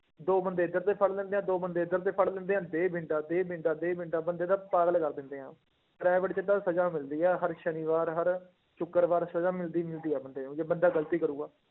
ਦੋ ਬੰਦੇ ਇੱਧਰ ਦੇ ਫੜ ਲੈਂਦੇ ਹੈ ਦੋ ਬੰਦੇ ਇੱਧਰ ਦੇ ਫੜ ਲੈਂਦੇ ਹੈ, ਦੇ ਡੰਡਾ, ਦੇ ਡੰਡਾ, ਦੇ ਡੰਡਾ ਬੰਦੇ ਦਾ ਪਾਗਲ ਕਰ ਦਿੰਦੇ ਹੈ private 'ਚ ਤਾਂ ਸਜ਼ਾ ਮਿਲਦੀ ਹੈ ਹਰ ਸ਼ਨੀਵਾਰ, ਹਰ ਸ਼ੁਕਰਵਾਰ ਸਜ਼ਾ ਮਿਲਦੀ ਮਿਲਦੀ ਹੈ ਬੰਦੇ ਨੂੰ ਜੇ ਬੰਦਾ ਗ਼ਲਤੀ ਕਰੇਗਾ।